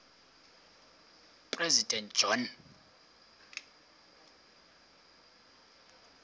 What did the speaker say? president john